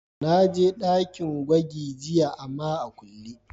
Na je dakin gwagi jiya ama tana a kulle.